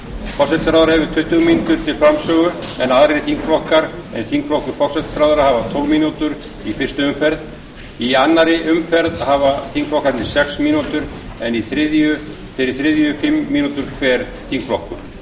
forsætisráðherra hefur tuttugu mínútur til framsögu en aðrir þingflokkar en þingflokkur forsætisráðherra hafa tólf mínútur í fyrstu umferð í annarri umferð hafa þingflokkarnir sex mínútur en í þeirri þriðju fimm mínútur hver þingflokkur